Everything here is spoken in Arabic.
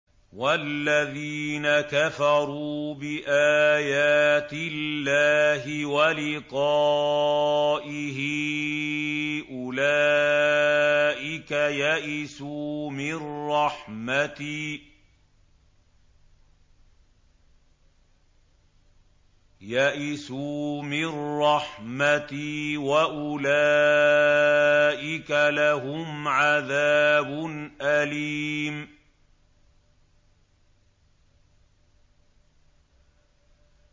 وَالَّذِينَ كَفَرُوا بِآيَاتِ اللَّهِ وَلِقَائِهِ أُولَٰئِكَ يَئِسُوا مِن رَّحْمَتِي وَأُولَٰئِكَ لَهُمْ عَذَابٌ أَلِيمٌ